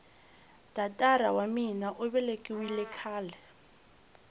tatara wa mina uvelekiwile khale